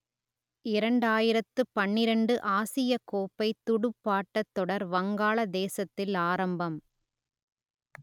இரண்டாயிரத்து பன்னிரண்டு ஆசியக் கோப்பை துடுப்பாட்டத் தொடர் வங்காளதேசத்தில் ஆரம்பம்